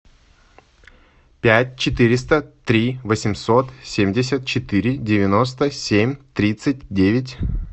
пять четыреста три восемьсот семьдесят четыре девяносто семь тридцать девять